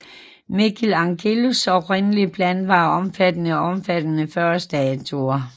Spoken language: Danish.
Michelangelos oprindelige plan var omfattende og omfattede 40 statuer